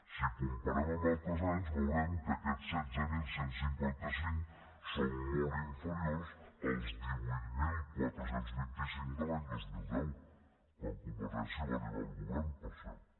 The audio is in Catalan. si ho comparem amb altres anys veurem que aquests setze mil cent i cinquanta cinc són molt inferiors als divuit mil quatre cents i vint cinc de l’any dos mil deu quan convergència va arribar al govern per cert